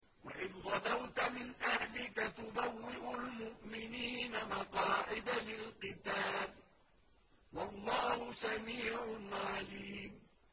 وَإِذْ غَدَوْتَ مِنْ أَهْلِكَ تُبَوِّئُ الْمُؤْمِنِينَ مَقَاعِدَ لِلْقِتَالِ ۗ وَاللَّهُ سَمِيعٌ عَلِيمٌ